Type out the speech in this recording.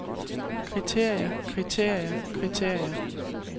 kriterier kriterier kriterier